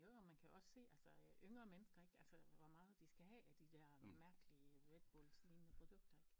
Jo jo man kan også se altså øh yngre mennesker ik altså hvor meget de skal have af de dér mærkelige Redbullslignende produkter ik